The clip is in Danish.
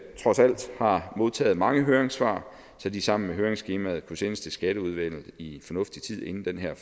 trods alt har modtaget mange høringssvar så de sammen med høringsskemaet kunne sendes til skatteudvalget i fornuftig tid inden den her